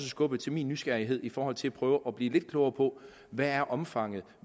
skubbet til min nysgerrighed i forhold til at prøve at blive lidt klogere på hvad omfanget